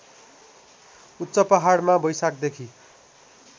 उच्च पहाडमा वैशाखदेखि